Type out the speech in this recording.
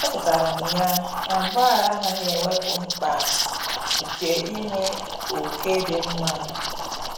Echetara m ya na mgbaghara anaghị ewepụ mkpa nke inwe ókè dị mma.